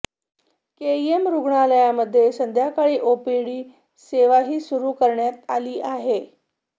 KEM रुग्णालयामध्ये संध्याकाळी OPD सेवाही सुरू करण्यात आली आहे